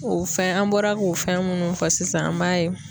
O fɛn, an bɔra k'o fɛn munnu fɔ sisan an b'a ye